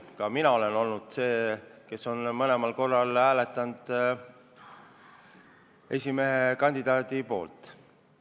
Ka mina olen mõlemal korral hääletanud tema poolt.